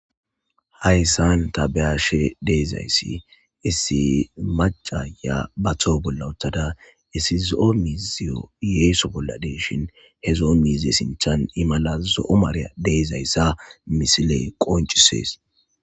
hayssan tabeyashe deezayssi essi macaya batoo bolla uttada esizoo miziyo yeeso bolla deeshin hezo7o miize sinthan imalazo7omareya deezayssa misile qoncisees